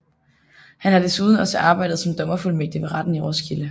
Han har desuden også arbejdet som dommerfuldmægtig ved retten i Roskilde